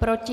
Proti?